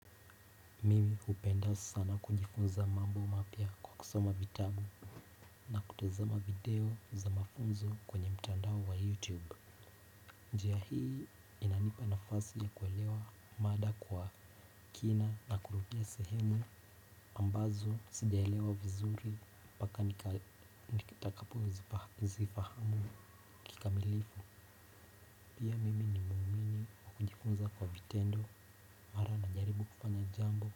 Mimi hupenda sana kujifunza mambo mapya kwa kusoma vitabu. Na kutazama video za mafunzo kwenye mtandao wa youtube. Njia hii inanipa nafasi ya kuelewa mada kwa kina na kurudia sehemu ambazo sijaelewa vizuri mpaka nitakapo zifahamu kikamilifu. Pia mimi ni muumini najifunza kwa vitendo mara najaribu kufanya jambo.